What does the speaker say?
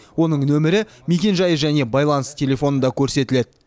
оның нөмірі мекенжайы және байланыс телефоны да көрсетіледі